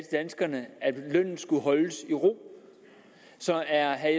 danskerne at lønnen skulle holdes i ro så er